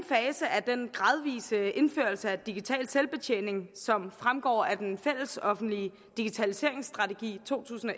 af den gradvise indførelse af digital selvbetjening som fremgår af den fællesoffentlige digitaliseringsstrategi to tusind og